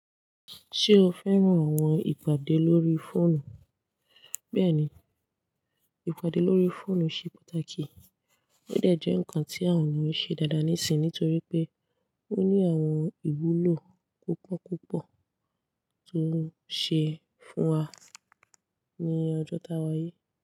Ṣé o fẹ́ràn àwọn ìpàdé lórí fóònù? Bẹ́ẹ̀ni, ìpàdé lórí fóònù ṣe pàtàkì, ó dà jẹ́ ǹkan tí àwon yan ṣe dáadáa níìsín nítorí pé ó ní àwọn ìwúlò púpọ̀ púpọ̀ tó ń ṣe fún wa ní ọjọ́ iwájú.